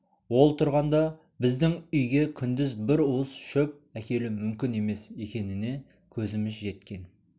ол тұрғанда біздің үйге күндіз бір уыс шөп әкелу мүмкін емес екеніне көзіміз жеткен